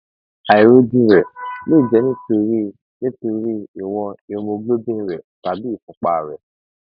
àìrọjú rẹ lè jẹ nítorí nítorí ìwọn hemoglobin rẹ tàbí ìfúnpá rẹ